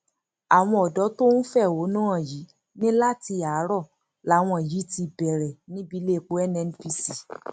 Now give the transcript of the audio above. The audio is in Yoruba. àwọn ọdọ tó ń fẹhónú hàn yìí ní láti àárò làwọn yìí ti bẹrẹ níbi iléepo nnpc